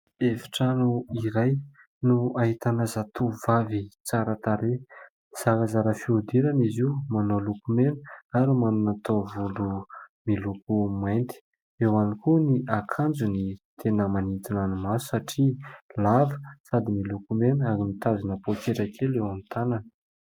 Efitrano iray no ahitana zatovovavy tsara tarehy. Zarazara fihodirana izy io, manao lokomena ary manana taovolo miloko mainty. Eo ihany koa ny akanjony tena manintona ny maso satria lava sady miloko mena ary mitazona poketra kely eo amin'ny tanany.